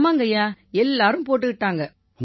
ஆமாங்கய்யா எல்லாரும் போட்டுக்கிட்டாங்க